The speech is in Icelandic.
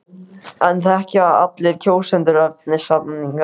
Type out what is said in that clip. En þekkja allir kjósendur efni samninganna?